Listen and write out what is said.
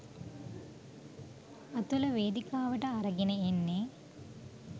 අතුල වේදිකාවට අරගෙන එන්නෙ